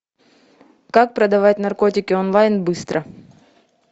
как продавать наркотики онлайн быстро